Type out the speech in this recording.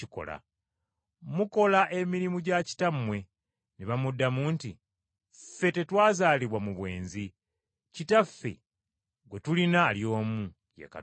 Mukola emirimu gya kitammwe.” Ne bamuddamu nti, “Ffe tetwazaalibwa mu bwenzi, Kitaffe gwe tulina ali omu, ye Katonda.”